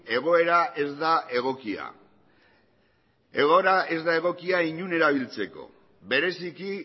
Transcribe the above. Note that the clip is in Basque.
egoera ez da egokia egoera ez da egokia inon erabiltzeko bereziki